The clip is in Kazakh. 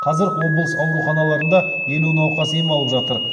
қазір облыс ауруханаларында елу науқас ем алып жатыр